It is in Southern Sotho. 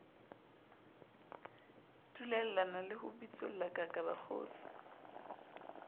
dulellana le ho bitsollakaka bakgotsi